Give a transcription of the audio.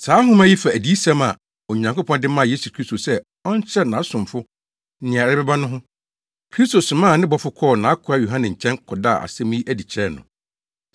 Saa nhoma yi fa adiyisɛm a Onyankopɔn de maa Yesu Kristo sɛ ɔnkyerɛ nʼasomfo nea ɛrebɛba no ho. Kristo somaa ne bɔfo kɔɔ nʼakoa Yohane nkyɛn kɔdaa asɛm yi adi kyerɛɛ no,